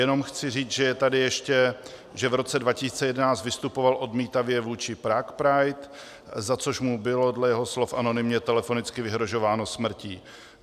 Jenom chci říct, že je tady ještě, že v roce 2011 vystupoval odmítavě vůči Prague Pride, za což mu bylo dle jeho slov anonymně telefonicky vyhrožováno smrtí.